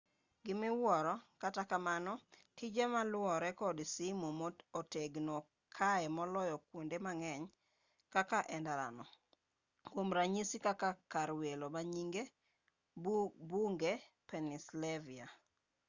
gimiwuoro kata kamano tije maluwore kod simu otegno kae moloyo kuonde mang'eny moko endara no kuom ranyisi kaka kar welo manyinge bunge pennsylvania